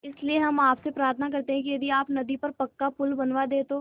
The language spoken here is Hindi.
इसलिए हम आपसे प्रार्थना करते हैं कि यदि आप नदी पर पक्का पुल बनवा दे तो